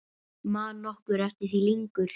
Man nokkur eftir því lengur?